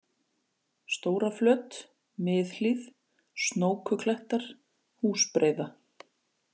Stóraflöt, Miðhlíð, Snókuklettar, Húsbreiða